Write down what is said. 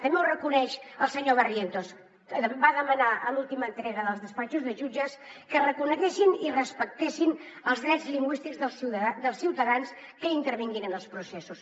també ho reconeix el senyor barrientos que va demanar a l’última entrega dels despatxos de jutges que reconeguessin i respectessin els drets lingüístics dels ciutadans que intervinguin en els processos